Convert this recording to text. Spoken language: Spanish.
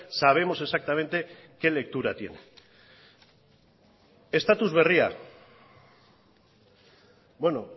sabemos exactamente qué lectura tiene estatus berria bueno